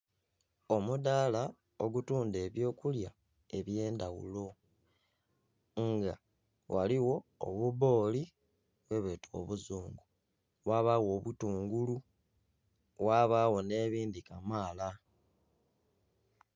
Omudaala ogutunda ebyo kulya ebyendaghulo nga ghaligho obubbooli bwebeeta obuzungu, ghabagho obutungulu ghabagho nebindi kamala